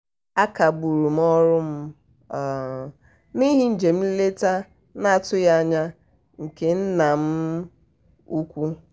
a um kagburu m ọrụ m n'ihi njem nleta m n'atụghị anya nke nna m um ukwu.